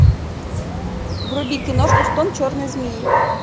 вруби киношку стон черной змеи